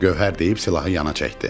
Gövhər deyib silahı yana çəkdi.